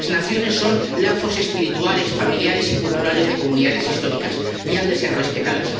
Las naciones son lazos espirituales, familiares y culturales de comunidades históricas y han de ser respetadas.